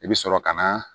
I bɛ sɔrɔ ka na